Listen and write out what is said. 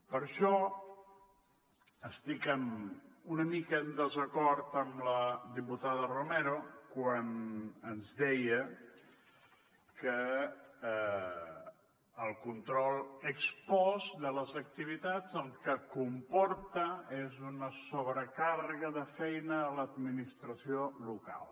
per això estic una mica en desacord amb la diputada romero quan ens deia que el control ex postde les activitats el que comporta és una sobrecàrrega de feina a l’administració local